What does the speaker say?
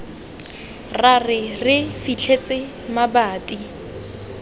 ra re re fitlhetse mabati